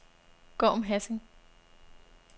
Gorm Hassing